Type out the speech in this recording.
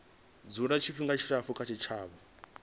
dzula tshifhinga tshilapfu kha tshitshavha